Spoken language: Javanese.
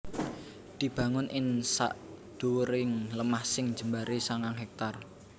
dibangun ing sadhuwuring lemah sing jembaré sangang hèktar